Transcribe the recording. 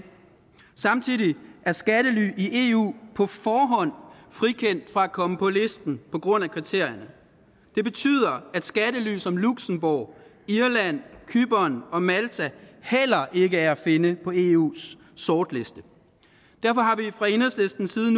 samtidig er skattely i eu på forhånd frikendt for at komme på listen på grund af kriterierne det betyder at skattely som luxembourg irland cypern og malta heller ikke er at finde på eus sortliste derfor har vi fra enhedslistens side